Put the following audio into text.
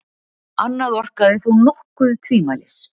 Annað orkar þó nokkuð tvímælis.